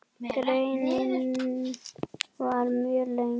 Greinin var mjög löng.